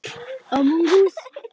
Þetta fannst Döddu fyndið.